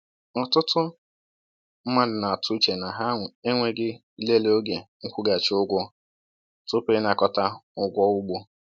“Ọtụtụ mmadụ na-atụ uche na ha enweghị ilele oge nkwụghachi ụgwọ tupu ịnakọta ụgwọ ugbo.”